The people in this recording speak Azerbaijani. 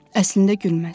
Əslində gülməz.